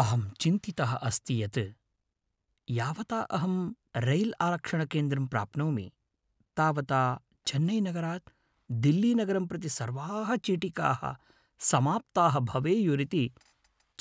अहं चिन्तितः अस्ति यत् यावता अहं रैल्आरक्षणकेन्द्रं प्राप्नोमि तावता चेन्नैनगरात् दिल्लीनगरं प्रति सर्वाः चीटिकाः समाप्ताः भवेयुरिति